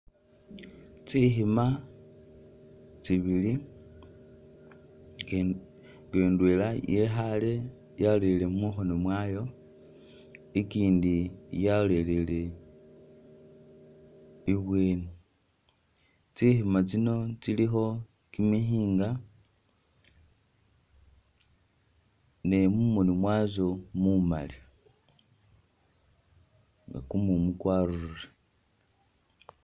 Tsikhima tsibili kindi nga idwela yekhale yalolele mukhono mwayo ikindi yalolelele ibweni tsikhima tsino tsilikho kimikyinga ne mumono mwatso mumali nga kumumu kwarurire